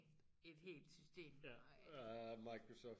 et helt system